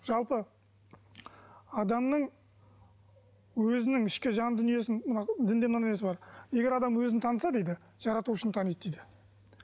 жалпы адамның өзінің ішкі жан дүниесін мынау дінде мынадай нәрсе бар егер адам өзін таныса дейді жаратушыны таниды дейді